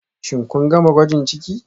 Shin kun gama gwajin ciki